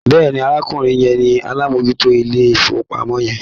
Bẹ́ẹ̀ni, arákùnrin yẹn ni alámòójútó ilé-ìfowópamọ́ yẹn.